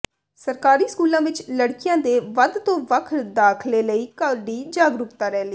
ਸਰਕਾਰੀ ਸਕੂਲਾਂ ਵਿਚ ਲੜਕੀਆਂ ਦੇ ਵੱਧ ਤੋਂ ਵੱਖ ਦਾਖ਼ਲੇ ਲਈ ਕੱਢੀ ਜਾਗਰੂਕਤਾ ਰੈਲੀ